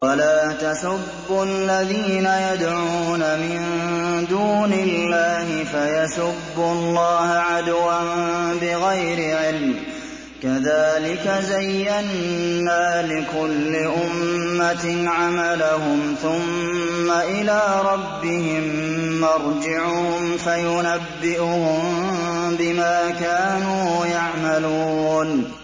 وَلَا تَسُبُّوا الَّذِينَ يَدْعُونَ مِن دُونِ اللَّهِ فَيَسُبُّوا اللَّهَ عَدْوًا بِغَيْرِ عِلْمٍ ۗ كَذَٰلِكَ زَيَّنَّا لِكُلِّ أُمَّةٍ عَمَلَهُمْ ثُمَّ إِلَىٰ رَبِّهِم مَّرْجِعُهُمْ فَيُنَبِّئُهُم بِمَا كَانُوا يَعْمَلُونَ